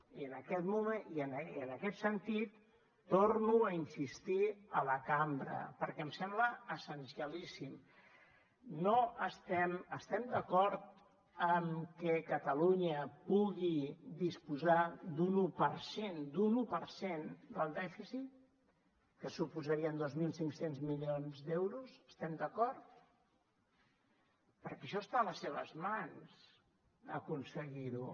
i en aquest sentit torno a insistir a la cambra perquè em sembla essencialíssim no estem d’acord amb que catalunya pugui disposar d’un un per cent un un per cent del dèficit que suposarien dos mil cinc cents milions d’euros hi estem d’acord perquè això està a les seves mans aconseguir ho